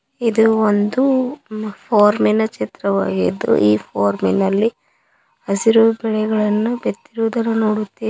ಇದು ಒಂದು ಫಾರ್ಮಿನ ಚಿತ್ರವಾಗಿದ್ದು ಈ ಫಾರ್ಮಿನಲ್ಲಿ ಹಸಿರು ಬಿತ್ತಿರುವುದನ್ನು ನೋಡುತ್ತೇವೆ.